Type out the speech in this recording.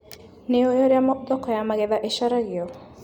Nĩũĩ ũrĩa thoko ya magetha ĩcaragio.